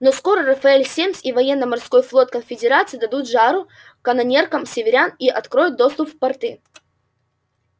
но скоро рафаэль семмс и военно-морской флот конфедерации дадут жару канонеркам северян и откроют доступ в порты